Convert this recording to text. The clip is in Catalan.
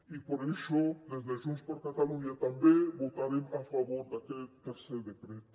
i per això des de junts per catalunya també votarem a favor daquest tercer decret